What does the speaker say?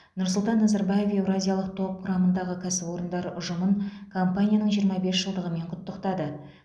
нұрсұлтан назарбаев еуразиялық топ құрамындағы кәсіпорындар ұжымын компанияның жиырма бес жылдығымен құттықтады